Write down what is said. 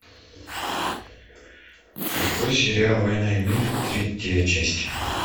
открой сериал война и мир третья часть